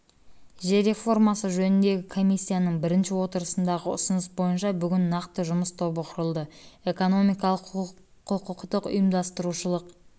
жер реформасы жөніндегі комиссияның бірінші отырысындағы ұсыныс бойынша бүгін нақты жұмыс тобы құрылды экономикалық құқықтық ұйымдастырушылық